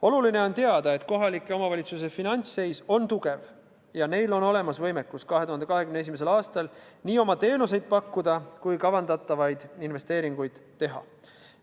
Oluline on teada, et kohaliku omavalitsuse üksuste finantsseis on tugev ja neil on olemas võimekus 2021. aastal nii oma teenuseid pakkuda kui ka kavandatavaid investeeringuid teha.